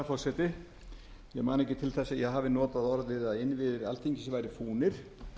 til þess að ég hafi notað orðin að innviðir alþingis væru fúnir